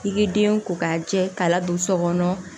I k'i den ko k'a jɛ k'a ladon so kɔnɔ